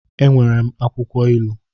E nwere m akwụkwọ ilu